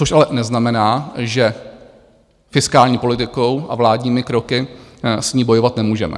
Což ale neznamená, že fiskální politikou a vládními kroky s ní bojovat nemůžeme.